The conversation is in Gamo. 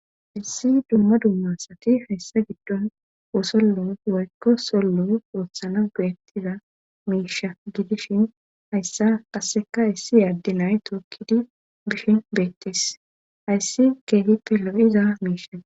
Issi dumma dummasati hayssa giddon wosollo waykko sollo purothana geettiza miisha gidishin hayssa qasseka hayssi yaaddi nay tookkidi bishin beettes hayssi keetippe lo'iza miisha.